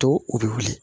To u bɛ wuli